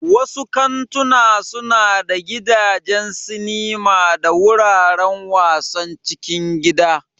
Wasu kantuna suna da gidajen sinima da wuraren wasan cikin gida.